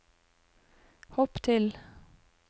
hopp til